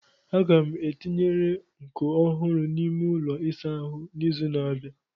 Aga m etinye nkọ ọhụrụ n'ime ụlọ ịsa ahu n'izu na-abịa.